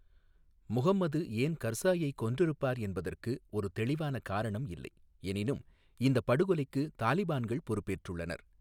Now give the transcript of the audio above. முஹம்மது ஏன் கர்சாயை கொன்றிருப்பார் என்பதற்கு ஒரு தெளிவான காரணம் இல்லை, எனினும் இந்தப் படுகொலைக்கு தாலிபான்கள் பொறுப்பேற்றுள்ளனர்.